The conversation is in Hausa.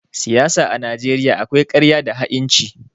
Siyasa a Najeriya akwai ƙarya da ha'inci.